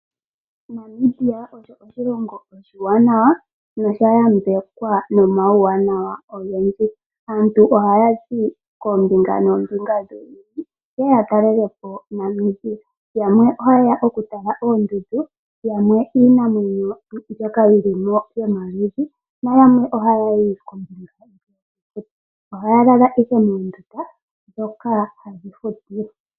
Namibia osho oshilongo oshiwanawa nosha yambekwa nomawuwanawa ogendji. Aantu ohaya zi koombinga noombinga dhevi, ye ye ya talelepo Namibia yamwe ohaye ya okutala oondundu, yamwe iinamwenyo mbyoka yi li mo yomaludhi. Ohaya lala ihe moondunda dhoka hadhi futilwa.